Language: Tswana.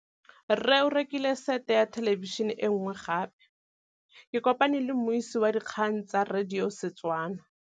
Rre o rekile sete ya thêlêbišênê e nngwe gape. Ke kopane mmuisi w dikgang tsa radio tsa Setswana.